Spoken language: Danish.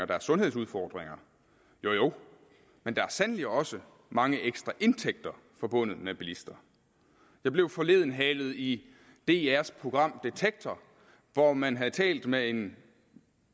der er sundhedsudfordringer jo jo men der er sandelig også mange ekstra indtægter forbundet med bilister jeg blev forleden halet i drs program detektor hvor man havde talt med en